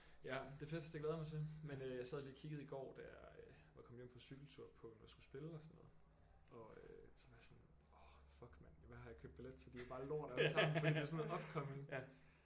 Ja det er fedt det glæder jeg mig til men øh jeg sad lige og kiggede i går da jeg øh var kommet hjem fra cykeltur på hvem der skulle spille og sådan noget og øh så var jeg sådan orh fuck mand hvad har jeg købt billet til det er bare lort alle sammen fordi det er sådan noget upcoming